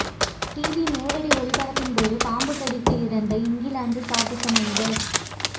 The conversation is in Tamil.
டிவி நேரடி ஒளிபரப்பின்போது பாம்பு கடித்து இறந்த இங்கிலாந்து சாகச மனிதர்